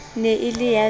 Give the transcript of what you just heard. ne e le ya v